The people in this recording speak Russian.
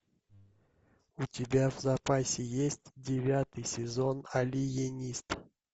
у тебя в запасе есть девятый сезон алиенист